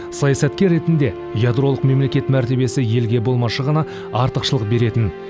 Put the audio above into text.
саясаткер ретінде ядролық мемлекет мәртебесі елге болмашы ғана артықшылық беретін